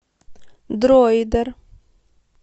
дроидер